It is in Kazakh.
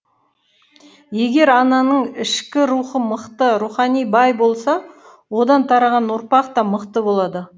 егер ананың ішкі рухы мықты рухани бай болса одан тараған ұрпақ та мықты болады